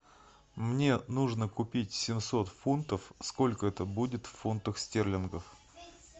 мне нужно купить семьсот фунтов сколько это будет в фунтах стерлингов